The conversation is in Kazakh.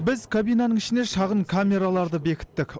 біз кабинаның ішіне шағын камераларды бекіттік